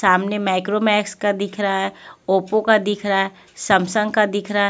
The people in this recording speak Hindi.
सामने माइक्रो मैक्स का दिख रहा है ओप्पो का दिख रहा है सैमसंग का दिख रहा है --